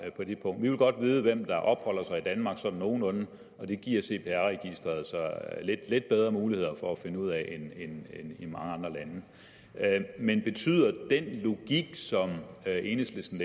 på det punkt vi vil godt vide hvem der opholder sig i danmark sådan nogenlunde og det giver cpr registeret så lidt bedre muligheder for at finde ud af end i mange andre lande men betyder det at enhedslisten